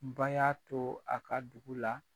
Ba y'a to a ka dugu la.